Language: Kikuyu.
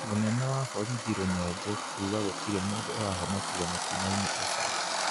Mũnene wa borithi Rũnyenje kuga gũtirĩ mũndũ ũrahonokire mũtinoinĩ ũcio